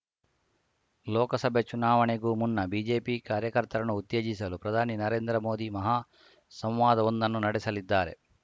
ಲೋಕಸಭೆ ಚುನಾವಣೆಗೂ ಮುನ್ನ ಬಿಜೆಪಿ ಕಾರ್ಯಕರ್ತರನ್ನು ಉತ್ತೇಜಿಸಲು ಪ್ರಧಾನಿ ನರೇಂದ್ರ ಮೋದಿ ಮಹಾ ಸಂವಾದವೊಂದನ್ನು ನಡೆಸಲಿದ್ದಾರೆ